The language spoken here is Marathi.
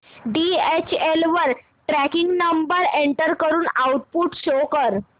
डीएचएल वर ट्रॅकिंग नंबर एंटर करून आउटपुट शो कर